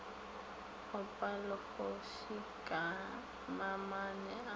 opa legofsi ka mamane a